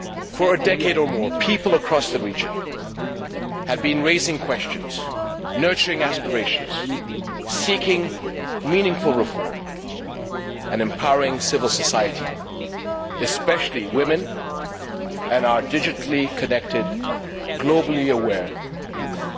For a decade or more, people across the region have been raising questions, nurturing aspirations, seeking meaningful reform and empowering civil society, especially women and our digitally connected, globally aware youth.